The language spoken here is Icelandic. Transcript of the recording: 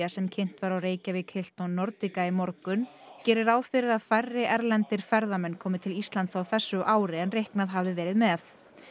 sem kynnt var á Reykjavík Nordica í morgun gerir ráð fyrir að færri erlendir ferðamenn komi til Íslands á þessu ári en reiknað hafði verið með